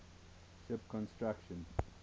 ship construction